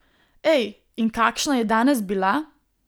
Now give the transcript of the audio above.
Ej, in kakšna je danes bila!